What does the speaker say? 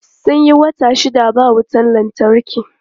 Sun yi wata shida ba wutan lantarki.